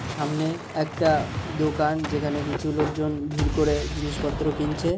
সামনে-এ একটা-আ দোকান যেখানে কিছু লোকজন ভিড় করে জিনিসপত্র কিনছে--